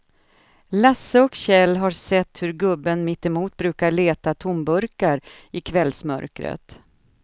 Lasse och Kjell har sett hur gubben mittemot brukar leta tomburkar i kvällsmörkret.